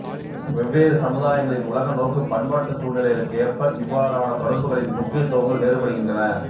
வெவ்வேறு சமுதாயங்களின் உலக நோக்கு பண்பாட்டுச் சூழ்நிலைகளுக்கு ஏற்ப இவ்வாறான தொடர்புகளின் முக்கியத்துவங்கள் வேறுபடுகின்றன